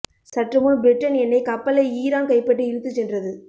சற்று முன் பிரிட்டன் எண்ணை கப்பலை ஈரான் கைப்பற்றி இழுத்துச் சென்றது